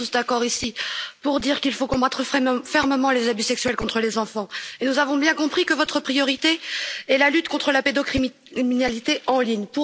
Nous sommes tous d'accord ici pour dire qu'il faut combattre fermement les abus sexuels contre les enfants et nous avons bien compris que votre priorité est la lutte contre la pédocriminalité en ligne.